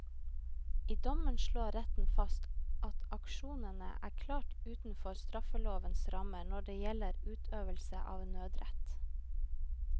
I dommen slår retten fast at aksjonene er klart utenfor straffelovens rammer når det gjelder utøvelse av nødrett.